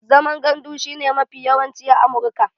Zaman gandu shi ne mafi yawanci a Amurka